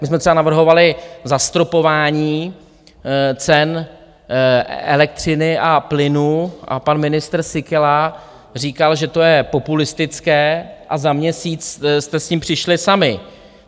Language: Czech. My jsme třeba navrhovali zastropování cen elektřiny a plynu a pan ministr Síkela říkal, že to je populistické, a za měsíc jste s tím přišli sami.